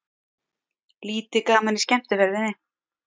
Lítið gaman í skemmtiferðinni